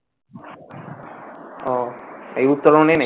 ওহ এই উত্তরনে নেই